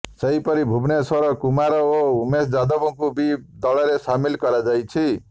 ସେହିପରି ଭୁବନେଶ୍ୱର କୁମାର ଓ ଉମେଶ ଯାଦବଙ୍କୁ ବି ଦଳରେ ସାମିଲ କରାଯାଇଛି